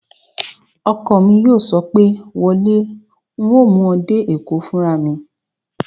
Ọkọ mi yóò sọ pé, "wọ lé, un ó mú ọ dé Èkó fúnra mi!"